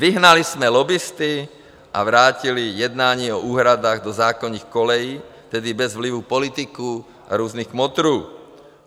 Vyhnali jsme lobbisty a vrátili jednání o úhradách do zákonných kolejí, tedy bez vlivu politiků a různých kmotrů.